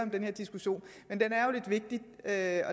den her diskussion men den er